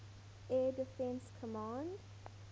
air defense command